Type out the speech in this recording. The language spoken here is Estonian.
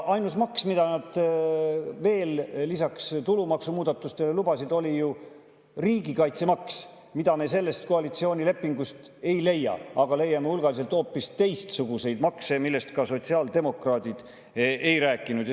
Ainus maks, mida nad veel lisaks tulumaksumuudatustele lubasid, oli ju riigikaitsemaks, mida me sellest koalitsioonilepingust ei leia, aga leiame hulgaliselt hoopis teistsuguseid makse, millest sotsiaaldemokraadid ei rääkinud.